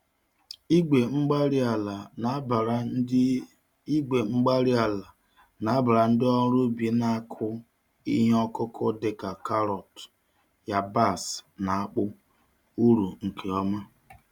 Igwe-mgbárí-ala nabara ndị Igwe-mgbárí-ala nabara ndị ọrụ ubi na-akụ ihe ọkụkụ dị ka karọt, yabasị, na akpụ, uru nke ọma